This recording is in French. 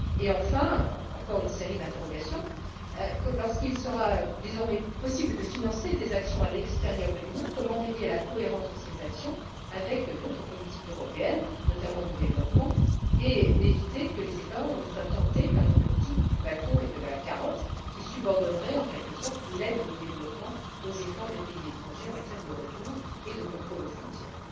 Enfin, encore une série d'interrogations lorsqu'il sera désormais possible de financer des actions à l'extérieur de l'Union, comment veiller à la cohérence de ces actions avec d'autres politiques européennes, notamment de développement, et comment éviter que les États ne soient tentés par une politique du bâton et de la carotte qui subordonnerait en quelque sorte l'aide au développement aux efforts des pays étrangers en matière de retour et de contrôle aux frontières?